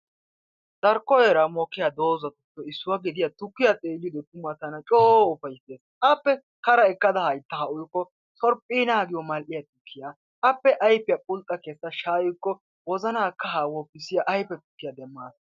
Darkko heeran mokkiya doozatuppe issuwa gidiya tukkiya xeelliyode tuma tana coo ufayssees. Appe Kara ekkada hayttaa uykko sorphphiina giyo mal''iya tukkiya appe ayfiya burxxa kessa shaayikko wozana kahaa woppissiya ayfe tukkiya demaas.